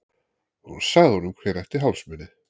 Hún sagði honum hver ætti hálsmenið.